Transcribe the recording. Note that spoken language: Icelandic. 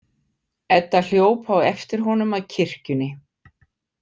Edda hljóp á eftir honum að kirkjunni.